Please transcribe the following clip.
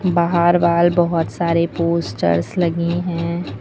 बहार वॉल बहोत सारे पोस्टर्स लगी है।